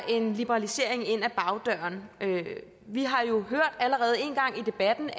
en liberalisering ind ad bagdøren vi har jo allerede en gang i debatten